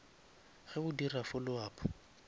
ge o dira follow up